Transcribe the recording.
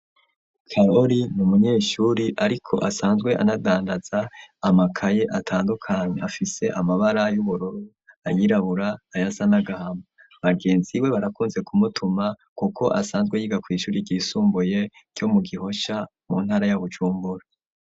Kaloli ni umunyeshuri, ariko asanzwe anadandaza amakaye atandukanya afise amabara y'uburoro ayirabura aya sa nagahama bagenzi we barakunze kumutuma, kuko asanzwe yiga kw'ishuri risumbuye co mu gihosha mu ntara y'abucumbura.